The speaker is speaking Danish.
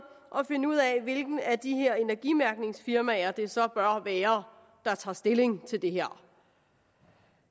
at finde ud af hvilket af de her energimærkningsfirmaer det så bør være der tager stilling til det her